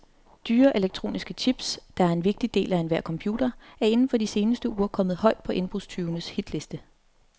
Dyre elektroniske chips, der er en vigtig del af enhver computer, er inden for de seneste uger kommet højt på indbrudstyvenes hitliste.